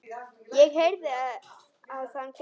Ég heyrði að hann grét.